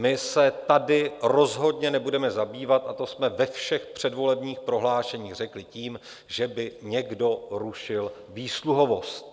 My se tady rozhodně nebudeme zabývat, a to jsme ve všech předvolebních prohlášeních řekli, tím, že by někdo rušil výsluhovost.